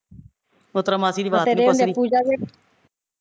ਉਸ ਤਰਾ ਮਾਸੀ ਦੀ ਬਾਤ ਨੀ ਪੁੱਛਦੀ